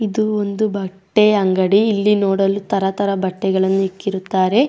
ಇದು ಒಂದು ಬಟ್ಟೆಯ ಅಂಗಡಿ ಇಲ್ಲಿ ನೋಡಲು ತರತರದ ಬಟ್ಟೆಗಳನ್ನು ಇಟ್ಟಿರುತ್ತಾರೆ.